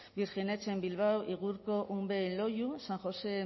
birjinetxe en bilbao y igurco unbe en loiu san josé